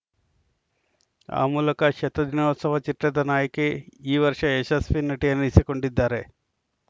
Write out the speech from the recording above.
ಆ ಮೂಲಕ ಶತ ದಿನೋತ್ಸವ ಚಿತ್ರದ ನಾಯಕಿ ಈ ವರ್ಷ ಯಶಸ್ವಿ ನಟಿ ಅನಿಸಿಕೊಂಡಿದ್ದಾರೆ